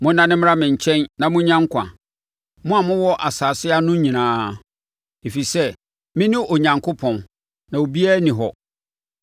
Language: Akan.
“Monnane mmra me nkyɛn na monnya nkwa, mo a mowɔ asase ano nyinaa; ɛfiri sɛ mene Onyankopɔn, na obiara nni hɔ.